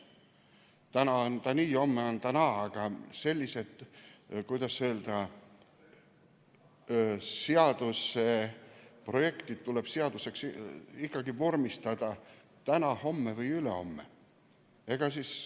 Täna on ta nii, homme naa, aga sellised, kuidas öelda, seaduseprojektid tuleb seaduseks vormistada ikkagi täna, homme või ülehomme.